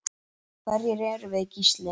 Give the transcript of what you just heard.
Hverjir erum við Gísli?